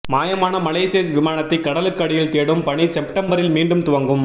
மாயமான மலேசிய விமானத்தை கடலுக்கு அடியில் தேடும் பணி செப்டம்பரில் மீண்டும் துவங்கும்